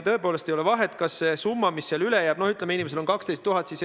No ütleme, et inimesel on kogunenud 12 000 eurot.